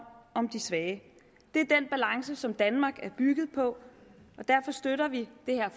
om de svage det er den balance som danmark er bygget på og derfor støtter vi det her